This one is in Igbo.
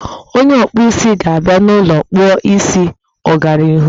Onye ọkpụ isi ga-abịa n'ụlọ kpụọ isi ọgbaraọhụrụ